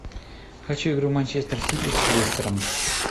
хочу игру манчестер сити с лестером